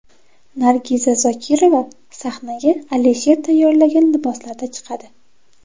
Nargiz Zokirova sahnaga Alisher tayyorlagan liboslarda chiqadi.